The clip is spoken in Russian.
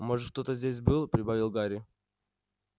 может кто-то здесь был прибавил гарри